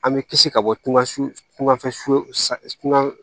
An bɛ kisi ka bɔ tunga sugafɛ su